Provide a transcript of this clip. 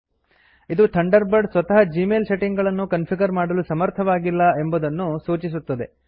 ಇದು Thunderbird ಸ್ವತಃ Gmail setting ಗಳನ್ನು ಕನ್ಫಿಗರ್ ಮಾಡಲು ಸಮರ್ಥವಾಗಿಲ್ಲ ಎಂಬುದನ್ನು ಸೂಚಿಸುತ್ತದೆ